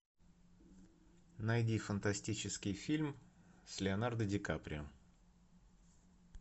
найди фантастический фильм с леонардо ди каприо